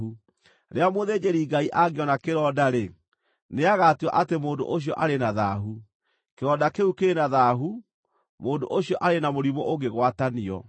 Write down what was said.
Rĩrĩa mũthĩnjĩri-Ngai angĩona kĩronda-rĩ, nĩagatua atĩ mũndũ ũcio arĩ na thaahu. Kĩronda kĩu kĩrĩ na thaahu; mũndũ ũcio arĩ na mũrimũ ũngĩgwatanio.